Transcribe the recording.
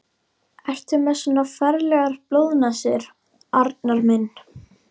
Ertu með svona ferlegar blóðnasir, Arnar minn?